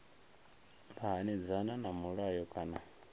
vha hanedzana na mulayo kana